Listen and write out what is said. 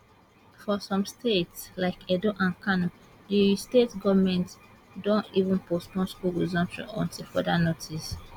for some states like edo and kano di state goments don even postpone school resumption until further notice